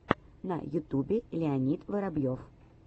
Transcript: на ютубе леонид воробьев